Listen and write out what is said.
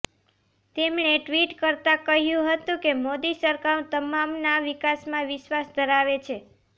તેમણે ટ્વિટ કરતાં કહ્યું હતું કે મોદી સરકાર તમામના વિકાસમાં વિશ્વાસ ધરાવે છે